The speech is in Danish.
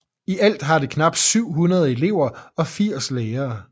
I alt har det knap 700 elever og 80 lærere